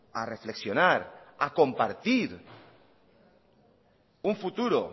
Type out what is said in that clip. a reflexionar a compartir un futuro